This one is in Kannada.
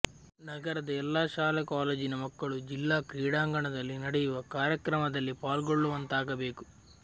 ನಗರದ ಎಲ್ಲ ಶಾಲೆ ಕಾಲೇಜಿನ ಮಕ್ಕಳು ಜಿಲ್ಲಾ ಕ್ರೀಡಾಂಗಣದಲ್ಲಿ ನಡೆಯುವ ಕಾರ್ಯಕ್ರಮದಲ್ಲಿ ಪಾಲ್ಗೊಳ್ಳುವಂತಾಗಬೇಕು